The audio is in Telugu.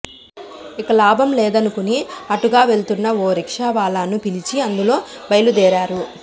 ఇక లాభం లేదనుకుని అటుగా వెళ్తున్న ఓ రిక్షావాలాను పిలిచి అందులో బయలుదేరారు